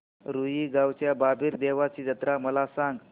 रुई गावच्या बाबीर देवाची जत्रा मला सांग